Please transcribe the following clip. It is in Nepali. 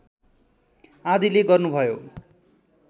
आदिले गर्नुभयो